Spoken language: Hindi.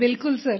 बिल्कुल सर